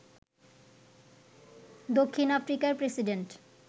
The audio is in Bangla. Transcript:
দক্ষিণ আফ্রিকার প্রেসিডেন্ট